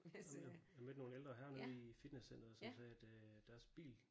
Jamen jeg jeg mødte nogle ældre herrer nede i fitnesscenteret som sagde at øh deres bil